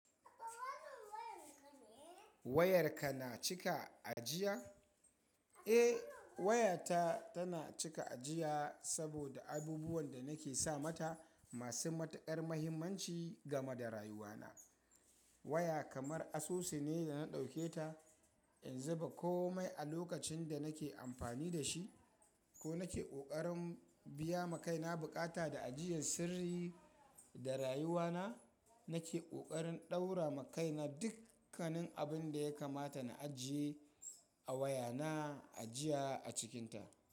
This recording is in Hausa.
Wayarka na cika ajiya? Eh, wayata tana cika ajiya saboda abubuwan da nake sa mata masu matuƙar muhimmanci game da rayuwana. Waya kamar asusu ne da na ɗauke ta in zuba kome a lokacin da nake amfani da shi ko nake ƙoƙarin biya ma kaina buƙata da ajiyan sirri da rayuwana. Nake ƙoƙarin ɗaura makaina dukkanin abin da yakamata na ajiye a wayana ajiya a cikinta.